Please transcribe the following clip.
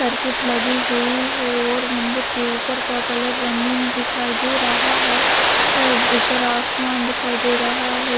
Circuit लगी हुई है और मंदिर के ऊपर का कलर रंगीन दिखाई दे रहा है ऊपर आसमान दिखाई दे रहा है।